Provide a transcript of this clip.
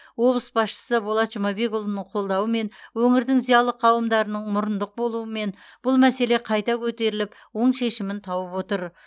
облыс басшысы болат жұмабекұлының қолдауымен өңірдің зиялы қауымдарының мұрындық болуы мен бұл мәселе қайта көтеріліп оң шешімін тауып отыр